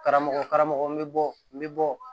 Karamɔgɔ karamɔgɔ n bɛ bɔ n bɛ bɔ